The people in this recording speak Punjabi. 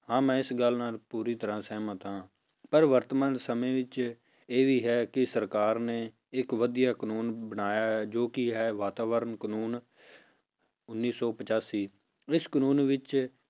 ਹਾਂ ਮੈਂ ਇਸ ਗੱਲ ਨਾਲ ਪੂਰੀ ਤਰ੍ਹਾਂ ਸਹਿਮਤ ਹਾਂ ਪਰ ਵਰਤਮਾਨ ਸਮੇਂ ਵਿੱਚ ਇਹ ਵੀ ਹੈ ਕਿ ਸਰਕਾਰ ਨੇ ਇੱਕ ਵਧੀਆ ਕਾਨੂੰਨ ਬਣਾਇਆ ਹੈ ਜੋ ਕਿ ਹੈ ਵਾਤਾਵਰਨ ਕਾਨੂੰਨ ਉੱਨੀ ਸੌ ਪਚਾਸੀ ਇਸ ਕਾਨੂੰਨ ਵਿੱਚ,